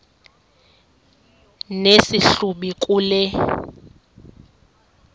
nesi hlubi kule